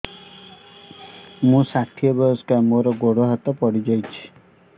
ମୁଁ ଷାଠିଏ ବୟସ୍କା ମୋର ଗୋଡ ହାତ ପଡିଯାଇଛି